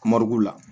la